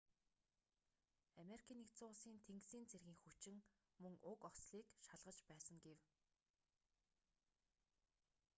ану-ын тэнгисийн цэргийн хүчин мөн уг ослыг шалгаж байсан гэв